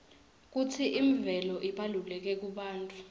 kutsi imvelo ibalulekile kubantfu